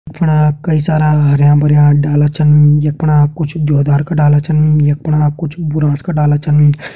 यख पणा कई सारा हरयां-भरयां डाला छन यख पणा कुछ देओदार का डाला छन यख पणा कुछ बुरांश का डाला छन।